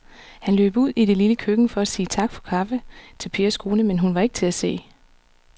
Han løb ud i det lille køkken for at sige tak for kaffe til Pers kone, men hun var ikke til at se.